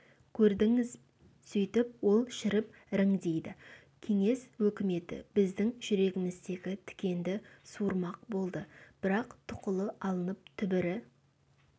көрдіңіз сөйтіп ол шіріп іріңдейді кеңес өкіметі біздің жүрегіміздегі тікенді суырмақ болды бірақ тұқылы алынып түбірі